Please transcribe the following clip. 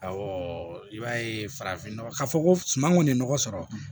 i b'a ye farafinnɔgɔ ka fɔ ko suman kɔni nɔgɔ sɔrɔ